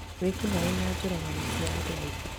Wĩkinaĩ na njũragano cia andũ aingi